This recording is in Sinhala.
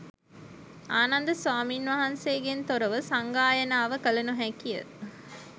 ආනන්ද ස්වාමීන් වහන්සේගෙන් තොරව සංගායනාව කළ නොහැකිය.